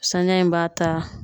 Saniya in b'a ta